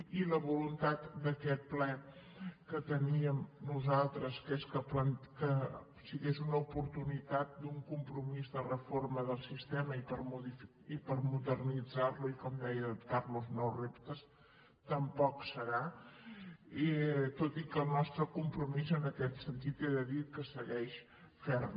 i la voluntat d’aquest ple que teníem nosaltres que és que sigués una oportunitat d’un compromís de reforma del sistema i per modernitzar lo i com deia adaptar lo als nous reptes tampoc serà tot i que el nostre compromís en aquest sentit he de dir que segueix ferm